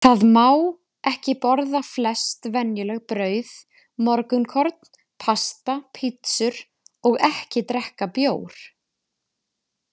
Þá má ekki borða flest venjuleg brauð, morgunkorn, pasta, pizzur og ekki drekka bjór.